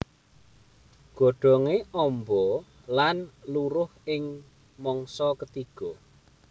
Godhongé amba lan luruh ing mangsa ketiga